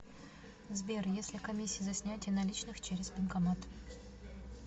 сбер если комиссия за снятие наличных через банкомат